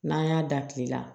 N'an y'a da kile la